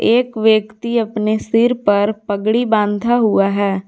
एक व्यक्ति अपने सिर पर पगड़ी बांधा हुआ है।